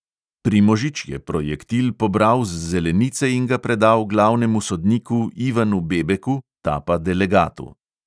Primožič je projektil pobral z zelenice in ga predal glavnemu sodniku ivanu bebeku, ta pa delegatu.